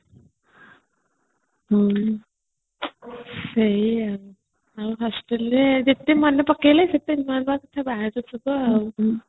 ହଁ ସେଇଆ ଆଉ ପୁଣି hostel ରେ ଯେତେ ମନେ ପକେଇଲେ ସେତେ ଯିବ ଆଉ